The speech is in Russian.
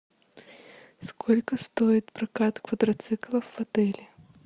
сколько стоит прокат квадроциклов в отеле